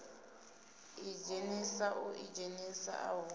idzhenisa u ḓidzhenisa uho hu